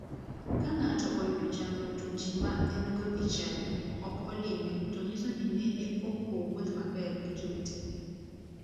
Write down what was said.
Ka ng'ato oyudo chandruok to ji ma engo e chadi ok olime to nyiso ni nene ok owuoth maber gi jowetene.